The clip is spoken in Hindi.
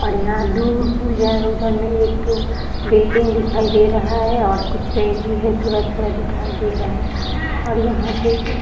और यहां दूर उधर में एक बिल्डिंग भी दिखाई दे रहा है और कुछ पेड़ भी थोड़ा-थोड़ा दिखाई दे रहा है और यहां पे --